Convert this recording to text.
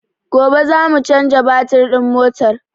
Gobe za mu caja batir din motar